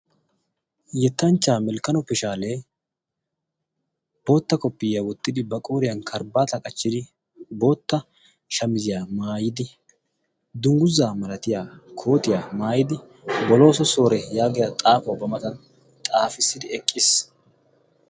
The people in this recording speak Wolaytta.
yettanchchaa melkkano pishaalee bootta koppiyiyaa wottidi ba qouriyan karibaata qachchidi bootta shamiziyaa maayidi dungguzaa malatiya kootiyaa maayidi bolooso soore yaagiya xaafuwau ba matan xaafissidi eqqiis